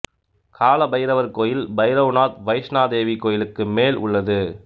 காலபைரவர் கோயில் பைரவ்நாத் வைஷ்ணொ தேவி கோயிலுக்கு மேல் உள்ளது